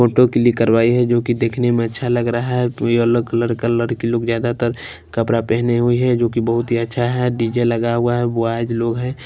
Photo click करवाई है जो कि देखने में अच्छा लग रहा है येलो कलर का लड़की लोग ज्यादातर कपड़ा पहनी हुई है जो कि बहुत ही अच्छा हैडीजे लगा हुआ है बॉयज लोग हैं।